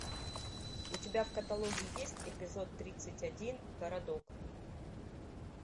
у тебя в каталоге есть эпизод тридцать один городок